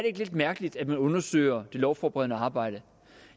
ikke lidt mærkeligt at man undersøger det lovforberedende arbejde